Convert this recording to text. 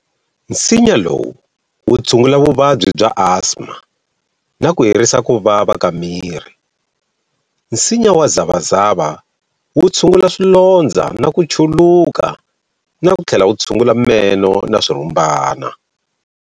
Nsinya lowu wu tshungula vuvabyi bya asthma na ku herisa ku vava ka miri. Nsinya wa zavazava wu tshungula swilondzo na ku chuluka na ku tlhela wu tshungula meno na swirhumbana.